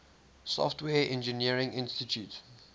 software engineering institute